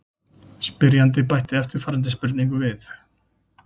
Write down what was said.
Spyrjandi bætti eftirfarandi spurningu við: